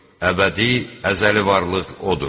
Əbədi, əzəli varlıq odur.